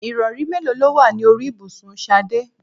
Ìrọ̀rí mélòó ló wà ní orí ibùsùn Ṣadé?